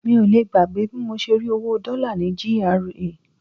Mi ò lè gbàgbé bí mo ṣe rí owó Dollar ní GRA.